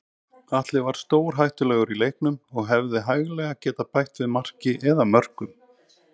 Atli var stórhættulegur í leiknum og hefði hæglega getað bætt við marki eða mörkum.